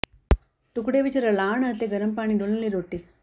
ਟੁਕੜੇ ਵਿਚ ਰਲਾਉਣ ਅਤੇ ਗਰਮ ਪਾਣੀ ਡੋਲਣ ਲਈ ਰੋਟੀ